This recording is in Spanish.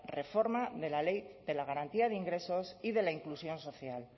reforma de la ley de garantía de ingresos y de la inclusión social